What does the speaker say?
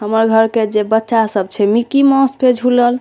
हमर घर के जे बच्चा सब छै मिक्की माउस पे झुलल।